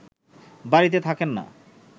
বাড়িতে থাকেন না